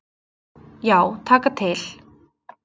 Já, taka til.